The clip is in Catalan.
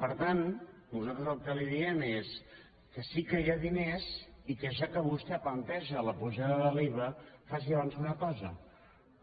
per tant nosaltres el que li diem és que sí que hi ha diners i que ja que vostè planteja la pujada de l’iva faci abans una cosa